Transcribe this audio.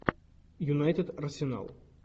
юнайтед арсенал